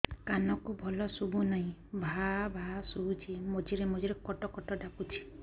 କାନକୁ ଭଲ ଶୁଭୁ ନାହିଁ ଭାଆ ଭାଆ ଶୁଭୁଚି ମଝିରେ ମଝିରେ କଟ କଟ ଡାକୁଚି